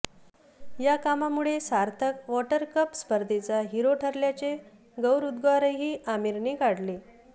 या कामामुळे सार्थक वॉटरकप स्पर्धेचा हीरो ठरल्याचे गौरवोद्गारही आमीरने काढले